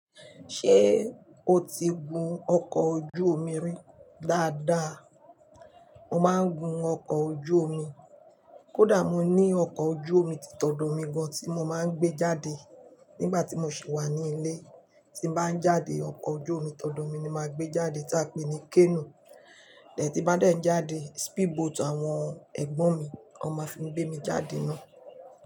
Ṣé o ti gun ọkọ̀ ojú omi rí? Dáadáa, mo máa ń gun ọkọ̀ ojú omi. Kódà mo ní ọkọ̀ ojú omi títọ̀dọ̀ mi gan tí mo máa ń gbé jáde nígbà tí mo sì wà ní ilé. Tí bá ń jáde, ọkọ̀ ojú omi títọ̀dọ̀ mi ni màá gbé jáde tí a pè ní "canoe". Ti bá dẹ́ ń jáde, speedboat àwọn ẹ̀gbọ́n mi ni wọ́n máa fi gbé mi jáde ná.